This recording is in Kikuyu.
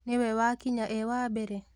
Nĩ we wakinya e wambere?